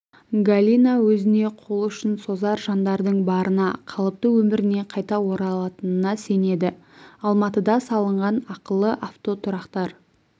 галина өзіне қол ұшын созар жандардың барына қалыпты өміріне қайта оралатынына сенеді алматыда салынған ақылы автотұрақтар